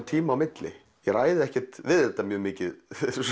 tíma á milli ég ræð ekkert við þetta mjög mikið